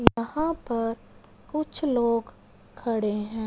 यहां पर कुछ लोग खड़े हैं।